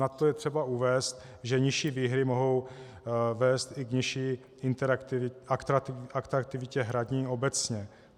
Na to je třeba uvést, že nižší výhry mohou vést i k nižší atraktivitě hraní obecně.